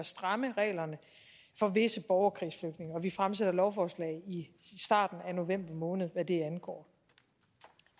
stramme reglerne for visse borgerkrigsflygtninge og vi fremsætter lovforslag i starten af november måned hvad det angår